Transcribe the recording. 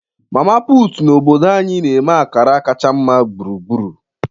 Mama Put na obodo anyị na-eme akara kacha mma gburugburu.